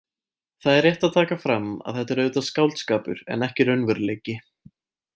Það er rétt að taka fram að þetta er auðvitað skáldskapur en ekki raunveruleiki.